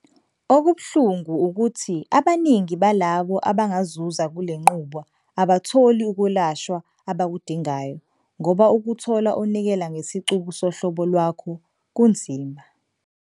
Okubuhlungu, ukuthi abaningi balabo abangazuza kule nqubo abatholi ukwelashwa abakudingayo ngoba ukuthola onikela ngesicubu sohlobo lwakho kunzima.